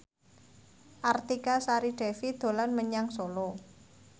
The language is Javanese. Artika Sari Devi dolan menyang Solo